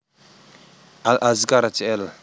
Al Azkar Jl